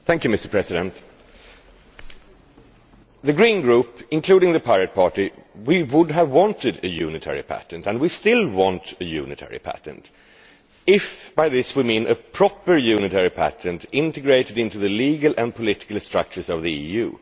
Mr President, the Green Group, including the Pirate Party, would have wanted a unitary patent and we still want a unitary patent if by this we mean a proper unitary patent integrated into the legal and political structures of the EU.